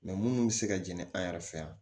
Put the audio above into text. munnu bɛ se ka jɛnni an yɛrɛ fɛ yan